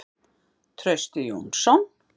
Trausti Jónsson.